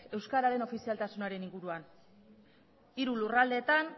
euskaren ofizialtasunaren inguruan hiru lurraldeetan